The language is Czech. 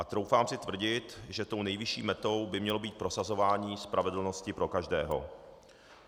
A troufám si tvrdit, že tou nejvyšší metou by mělo být prosazování spravedlnosti pro každého.